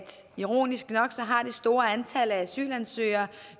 ironisk nok har det store antal af asylansøgere